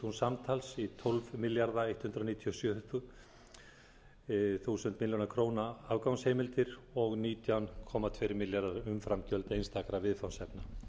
og þrjú komma níu milljónir afgangsheimildir og nítján þúsund tvö hundruð fjörutíu og átta komma sex milljónir umframgjöld einstakra viðfangsefna